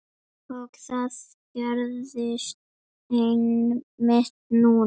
Og það gerðist einmitt núna!